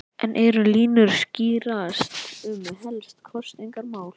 En eru línur að skýrast um helstu kosningamálin?